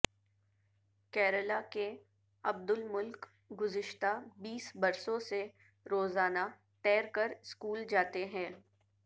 کیرالہ کے عبدالملک گذشتہ بیس برسوں سے روزانہ تیر کر سکول جاتے ہیں